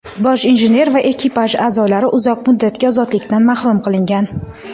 bosh injener va ekipaj a’zolari uzoq muddatga ozodlikdan mahrum qilingan.